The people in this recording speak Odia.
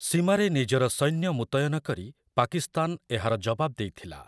ସୀମାରେ ନିଜର ସୈନ୍ୟ ମୁତୟନ କରି ପାକିସ୍ତାନ ଏହାର ଜବାବ ଦେଇଥିଲା ।